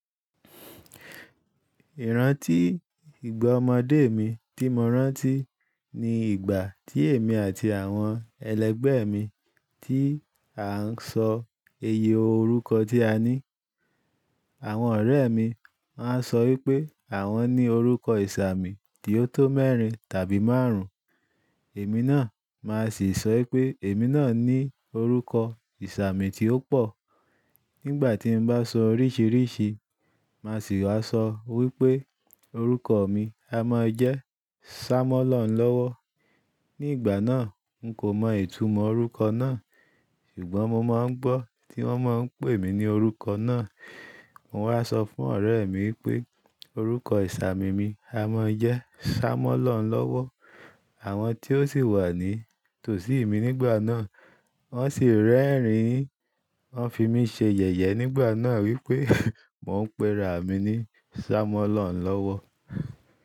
Ìrántí ìgbà ọmọdé mi tí mo rántí ní ìgbà tí èmi àti àwọn ẹlẹgbẹ́ mi tí à ń sọ iye orúkọ tí a ní. Àwọn ọ̀rẹ́ mi waa ń sọ wípé àwọn ní orúkọ ìsààmì tí ó tó mẹ́rin tàbí márùn-ún. Èmi náà máa sì sọ wípé èmi náà ní orúkọ ìsààmì tí ó pò. Nígbà tí n bá sọ oríṣìríṣì, màá sì wá sọ wípé orúkọ mi a máa jẹ́ Sá mọ́ ló hùn lọ́wọ́. Ní ìgbà náà, n kò mọ ìtumọ̀ orúkọ náà. Ṣùgbọ́n mo máa ń gbọ́ tí wọ́n máa ń pè mí ní orúkọ náà. Mo wá sọ fún ọ̀rẹ́ mi wipé orúkọ ìsààmì mi a máa jẹ́ Sá mọ́ ló hùn lọ́wọ́. Àwọn tí ó sì wà ní tòsí mi nígbà náà, wọ́n sì rẹ́rìn-ín, wọ́n fi mí ṣe yẹ̀yẹ́ nígbà náà wípé mo ń pera mi ní Sá mọ́ ló hùn lọ́wọ́.